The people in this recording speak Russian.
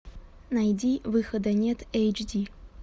найди выхода нет эйч ди